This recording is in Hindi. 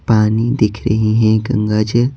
पानी दिख रही हैं गंगाजल --